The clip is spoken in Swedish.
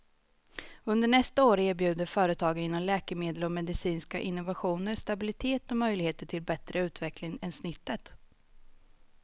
Under nästa år erbjuder företagen inom läkemedel och medicinska innovationer stabilitet och möjligheter till bättre utveckling än snittet.